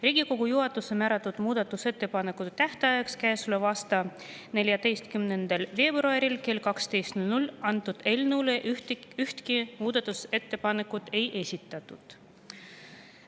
Riigikogu juhatuse määratud muudatusettepanekute tähtajaks, käesoleva aasta 14. veebruariks kella 12-ks eelnõu kohta ühtegi muudatusettepanekut ei esitatud.